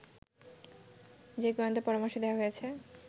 যে গোয়েন্দা পরামর্শ দেয়া হয়েছে